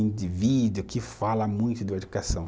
indivíduo que fala muito de educação.